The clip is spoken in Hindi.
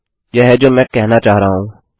यह है जो मैं कहना चाह रहा हूँ